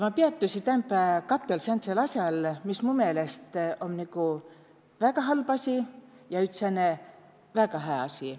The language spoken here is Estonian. Ma peätüsi täämpä katõl säändsõl asjal, mis mu meelest om nigu väga halb asi ja üts sääne väega hää asi.